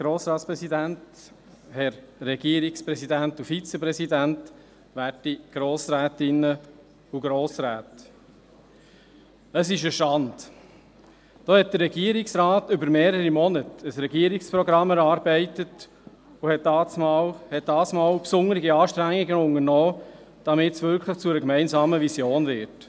Da hat der Regierungsrat während mehrerer Monate ein Regierungsprogramm erarbeitet und hat dieses Mal besondere Anstrengungen unternommen, damit es wirklich zu einer gemeinsamen Vision wird.